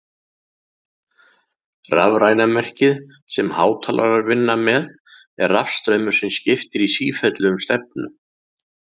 Rafræna merkið sem hátalarar vinna með er rafstraumur sem skiptir í sífellu um stefnu.